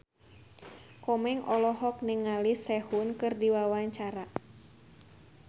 Komeng olohok ningali Sehun keur diwawancara